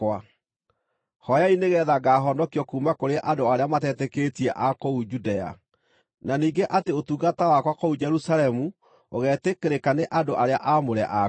Hooyai nĩgeetha ngaahonokio kuuma kũrĩ andũ arĩa matetĩkĩtie a kũu Judea, na ningĩ atĩ ũtungata wakwa kũu Jerusalemu ũgetĩkĩrĩka nĩ andũ arĩa aamũre akuo,